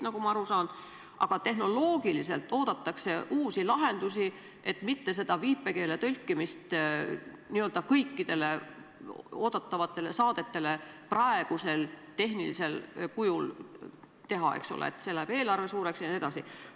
Aga tehnoloogiliselt oodatakse uusi lahendusi, et mitte viipekeeletõlget n-ö kõikidele oodatavatele saadetele teha praegusel tehnilisel kujul, eks ole, sest siis läheks eelarve suureks jne.